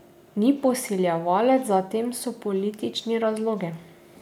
Ni posiljevalec, za tem so politični razlogi.